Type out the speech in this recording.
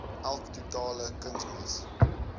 elk totale kunsmis